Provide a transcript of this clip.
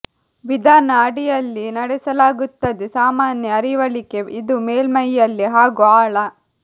ವಿಧಾನ ಅಡಿಯಲ್ಲಿ ನಡೆಸಲಾಗುತ್ತದೆ ಸಾಮಾನ್ಯ ಅರಿವಳಿಕೆ ಇದು ಮೇಲ್ಮೈಯಲ್ಲಿ ಹಾಗೂ ಆಳ